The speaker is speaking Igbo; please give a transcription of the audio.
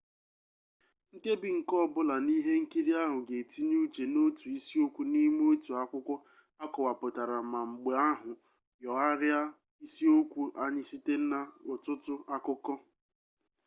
nkebi nke ọbụla n'ihe nkiri ahụ ga-etinye uche n'otu isiokwu n'ime otu akwụkwọ akọwapụtara ma mgbe ahụ nyogharịa isiokwu ahụ site n'ọtụtụ akụkọ